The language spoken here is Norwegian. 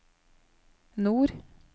nord